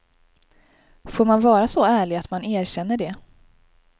Får man vara så ärlig att man erkänner det?